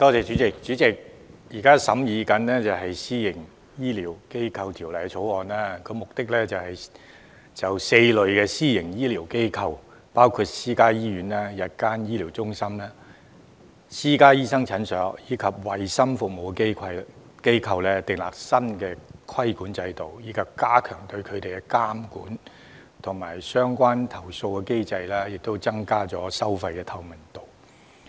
主席，現正審議的《私營醫療機構條例草案》旨在就4類私營醫療機構，包括私家醫院、日間醫療中心、私家醫生診所及衞生服務機構，訂立新的規管制度，以加強對它們的監管及相關投訴的機制，增加收費透明度。